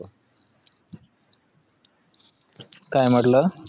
काय म्हटलं